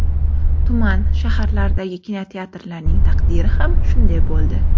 Tuman, shaharlardagi kinoteatrlarning taqdiri ham shunday bo‘ldi.